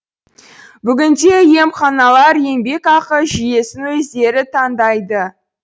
бүгінде емханалар еңбекақы жүйесін өздері таңдайды